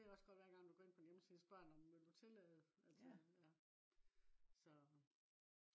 du ved jo også godt hver gang du går ind på en hjemmeside så spørg den om vil du tillade altså ja. så